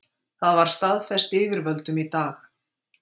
Það var staðfest yfirvöldum í dag